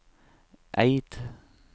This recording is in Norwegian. Eid